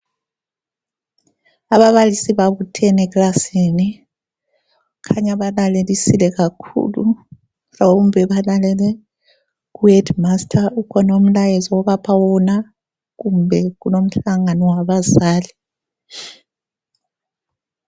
Ababalisi babuthene eklasini. kukhanya balalelisile kakhulu mhlawumbe balalele ku Headmaster ukhona umlayezo obapha wona kumbe kulomhlangano wabazali.